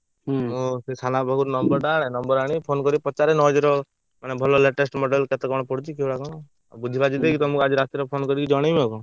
ମୁଁ ସେ ସାନ ବାପାଙ୍କ ପାଖରୁ number ଟା ଆଣେ number ଆଣି phone କରି ପଚାରେ ର ମାନେ ଭଲ latest model କେତେ କଣ ପଡୁଛି କିଭଳିଆ କଣ? ସବୁ ବୁଝିବାଝି ଦେଇକି ତମକୁ ଆଜି ରାତିରେ phone କରି ଜଣେଇବି ଆଉ କଣ?